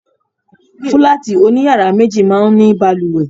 Fúláàtì oní yàrá méjì máa ń ní balùwẹ̀.